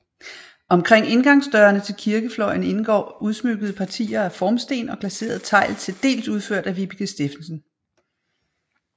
Omkring indgangsdørene til kirkefløjen indgår udsmykkede partier af formsten og glaseret tegl til dels udført af Vibeke Steffensen